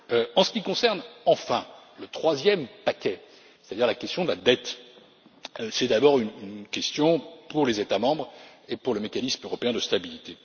En ce qui concerne enfin le troisième paquet, c'est à dire la question de la dette, c'est d'abord une question pour les États membres et pour le Mécanisme européen de stabilité.